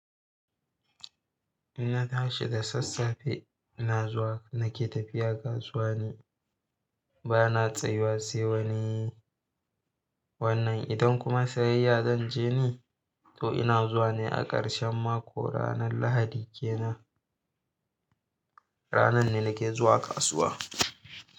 Jna tashi da sassafe ina zuwa nake tafiya kasuwa ni bana tsayuwa sai wani wannan. Idan kuma sayya zanje ni, to ina zuwa ne a ƙarshen mako ranar lahadi kenan. Ranan ne nake zuwa kasuwa.